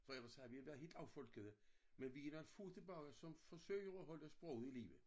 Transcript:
For jeg vil sige vi har været helt affolkede men vi er nogen få tilbage som fosøger at holde sproget i live